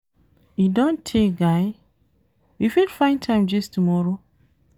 E don tey guy, we fit find time gist tomorrow?